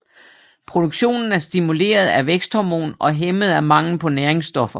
Produktionen er stimuleret af væksthormon og hæmmet af mangel på næringsstoffer